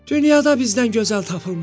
Dünyada bizdən gözəl tapılmaz.